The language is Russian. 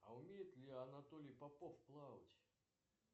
а умеет ли анатолий попов плавать